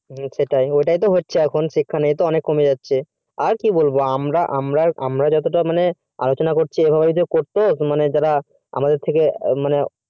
সেটাই ওটাই তো হচ্ছে শিক্ষার মান অনেক কমে যাচ্ছে আর কি বলবো আমরা আমরা অতটা আলোচনা করছি যারা আমাদের থেকে